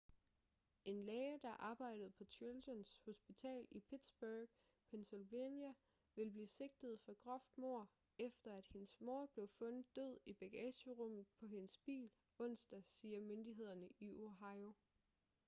en læge der arbejdede på children's hospital i pittsburgh pennsylvania vil blive sigtet for groft mord efter at hendes mor blev fundet død i bagagerummet på hendes bil onsdag siger myndighederne i ohio